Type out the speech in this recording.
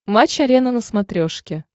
матч арена на смотрешке